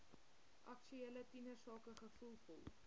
aktuele tienersake gevoelvol